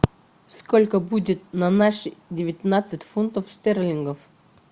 сколько будет на наши девятнадцать фунтов стерлингов